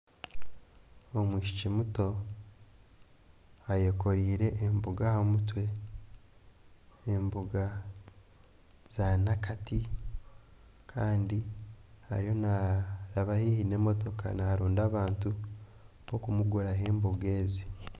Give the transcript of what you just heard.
Omwishiki muto ayekoreire emboga ahamutwe emboga za Nakati Kandi ariyo naraba haihi nemotoka naroonda abantu bokumuguraho emboga ezi